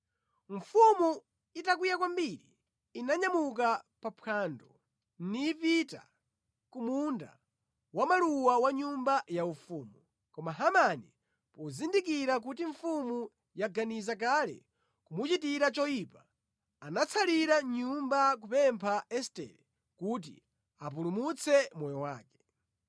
Mfumu itakwiya kwambiri inanyamuka pa phwando nipita ku munda wa maluwa wa nyumba yaufumu. Koma Hamani, pozindikira kuti mfumu yaganiza kale kumuchitira choyipa, anatsalira mʼnyumba kupempha Estere kuti apulumutse moyo wake.